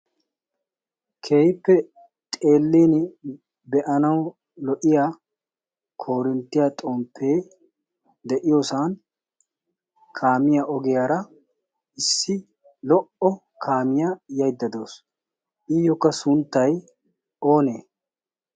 kehippe xellin be7anawu lo77iya korinttiyaa xomppee de7iyoosan kaamiya ogiyaara issi lo77o kaamiyaa yaidda dawusu iyyookka sunttai oonee?